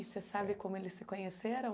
E você sabe como eles se conheceram?